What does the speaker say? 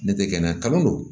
Ne tɛ kɛnɛya kanu